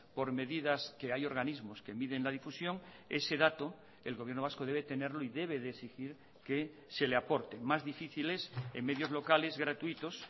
por medidas que hay organismos que miden la difusión ese dato el gobierno vasco debe tenerlo y debe de exigir que se le aporte más difícil es en medios locales gratuitos